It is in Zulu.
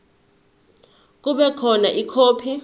kube khona ikhophi